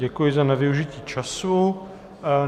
Děkuji za nevyužití času.